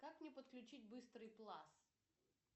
как мне подключить быстрый класс